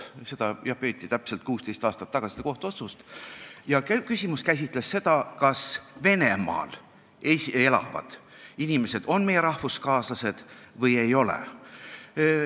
Seda kohut peeti täpselt 16 aastat tagasi ja küsimus oli, kas Venemaal elavad inimesed on meie rahvuskaaslased või ei ole.